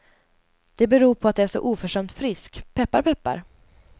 Det beror på att jag är så oförskämt frisk, peppar peppar.